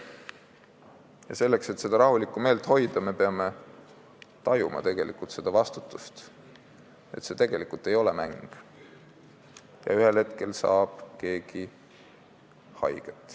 Ja selleks, et seda rahulikku meelt hoida, me peame tajuma vastutust, et see tegelikult ei ole mäng ja ühel hetkel saab keegi haiget.